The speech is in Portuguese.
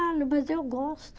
mas eu gosto.